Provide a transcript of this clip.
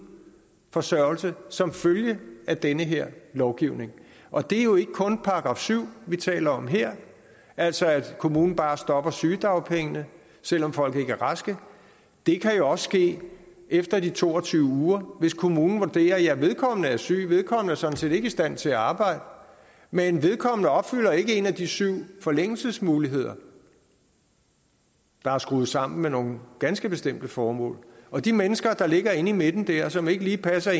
forsørgelse som følge af den her lovgivning og det er jo ikke kun § syv vi taler om her altså at kommunen bare stopper med sygedagpengene selv om folk ikke er raske det kan også ske efter de to og tyve uger hvis kommunen vurderer at vedkommende er syg at vedkommende sådan set ikke er i stand til at arbejde men at vedkommende ikke opfylder en af de syv forlængelsesmuligheder der er skruet sammen med nogle ganske bestemte formål og de mennesker der ligger inde i midten der som ikke lige passer